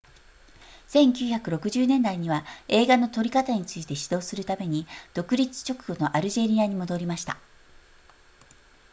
1960年代には映画の撮り方について指導するために独立直後のアルジェリアに戻りました